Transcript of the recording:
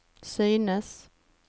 synes